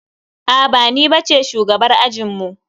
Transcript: Aa ba ni bace shugabar ajinmu.